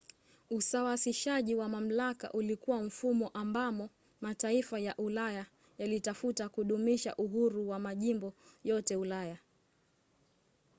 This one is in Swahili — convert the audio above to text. usawasishaji wa mamlaka ulikuwa mfumo ambamo mataifa ya ulaya yalitafuta kudumisha uhuru wa majimbo yote ya ulaya